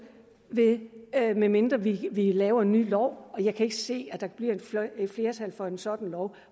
medmindre vi laver en ny lov jeg kan ikke se at der bliver et flertal for en sådan lov